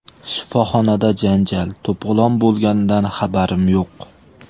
Shifoxonada janjal, to‘polon bo‘lganidan xabarim yo‘q.